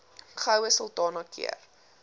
goue sultana keur